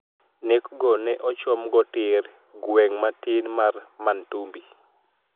Nek go ne ochom go tir gweng' matin mar Mantumbi.